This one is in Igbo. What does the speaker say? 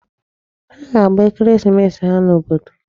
Ha ga-agba ekeresimesi ha n'obodo.